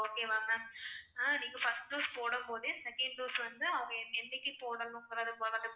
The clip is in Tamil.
okay வா ma'am அஹ் நீங்க first dose போடும்போதே second dose வந்து அவங்க எண்ணிக்கு போடணும்கிறதை